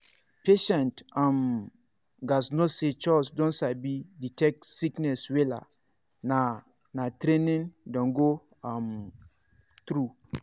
patients um gatz know say chws don sabi detect sickness wella na na training dem go um through.